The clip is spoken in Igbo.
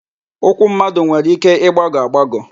Ụkwụ mmadụ nwere ike ịgbagọ agbagọ.